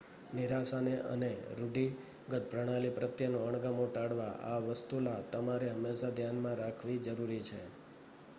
નિરાશાને અને રૂઢિગત પ્રણાલી પ્રત્યેનો અણગમો ટાળવા આ વસ્તુલા તમારે હંમેશા ધ્યાનમાં રાખવી જરૂરી છે